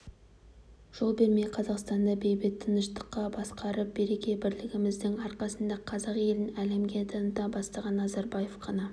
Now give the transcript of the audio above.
жол бермей қазақстанды бейбіт тыныштықта басқарып береке-бірлігіміздің арқасында қазақ елін әлемге таныта бастаған назарбаев қана